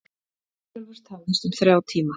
Herjólfur tafðist um þrjá tíma